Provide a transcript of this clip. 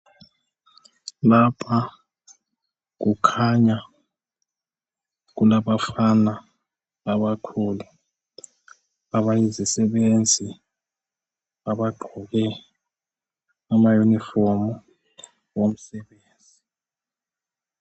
Lapha kukhanya kulabafana abakhulu abayizisebenzi abagqoke amayunifomi womsebenzi.